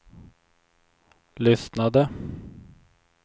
lyssnade